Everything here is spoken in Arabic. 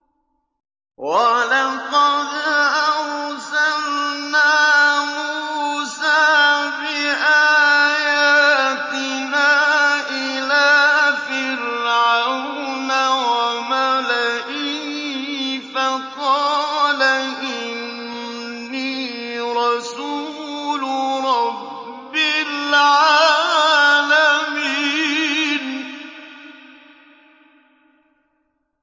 وَلَقَدْ أَرْسَلْنَا مُوسَىٰ بِآيَاتِنَا إِلَىٰ فِرْعَوْنَ وَمَلَئِهِ فَقَالَ إِنِّي رَسُولُ رَبِّ الْعَالَمِينَ